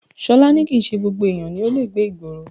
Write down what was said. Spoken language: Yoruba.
Ṣọlá ní kìí ṣe gbogbo èèyàn ni ó le gbé ìgboro